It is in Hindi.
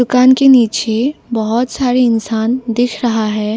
दुकान के नीचे बहोत सारी इंसान दिख रहा है।